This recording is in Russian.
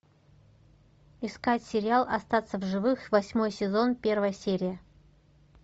искать сериал остаться в живых восьмой сезон первая серия